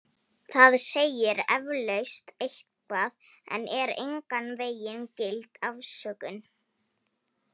Það segir eflaust eitthvað en er engan vegin gild afsökun.